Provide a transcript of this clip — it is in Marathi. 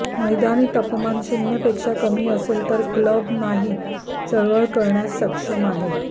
मैदानी तापमान शून्य पेक्षा कमी असेल तर क्लब नाही चळवळ करण्यास सक्षम आहे